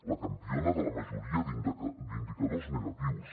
la campiona de la majoria d’indicadors negatius